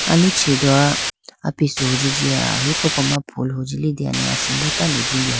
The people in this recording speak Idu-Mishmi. Aluchi do apisu hunji jiya ahi koko ma phool hunji liteyane asimbo tando jindeha.